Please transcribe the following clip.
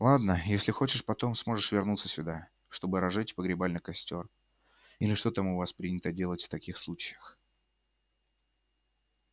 ладно если очень хочешь потом сможешь вернуться сюда чтобы разжечь погребальный костёр или что там у вас принято делать в таких случаях